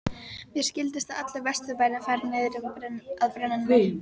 Mér skildist að allur Vesturbærinn færi niður að brennunni.